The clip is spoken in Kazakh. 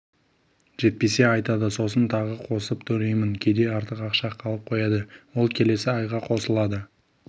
жетпесе айтады сосын тағы қосып төлеймін кейде артық ақша қалып қояды ол келесі айға қосылады